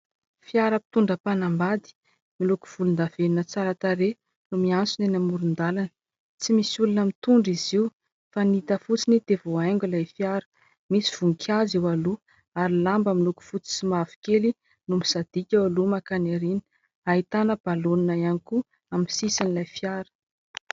Fiara mpitondra mpanambady miloko volon-davenona tsara tarehy no miantsona eny amoron-dalana. Tsy misy olona mitondra izy io fa ny hita fotsiny dia voahaingo ilay fiara. Misy voninkazo eo aloha, ary lamba miloko fotsy sy mahavokely no misadika eo aloha mankany aoriana. Ahitana balaonina ihany koa amin'ny sisin'ilay fiara.